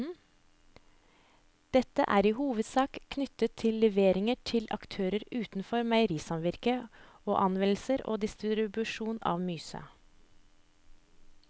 Dette er i hovedsak knyttet til levering til aktører utenfor meierisamvirket og anvendelse og distribusjon av myse.